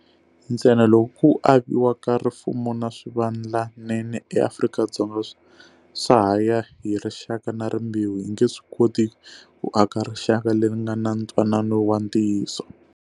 Ntsena loko ku aviwa ka rifumo na swivandlanene eAfrika-Dzonga swa ha ya hi rixaka na rimbewu, hi nge swi koti ku aka rixaka leri nga na ntwanano wa ntiyiso.